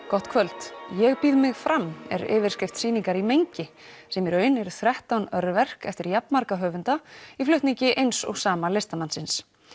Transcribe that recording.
gott kvöld ég býð mig fram er yfirskrift sýningar í mengi sem í raun er þrettán örverk eftir jafn marga höfunda í flutningi eins og sama listamannsins